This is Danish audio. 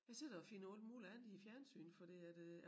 Jeg sidder og finder alt muligt andet i æ fjernsyn fordi at øh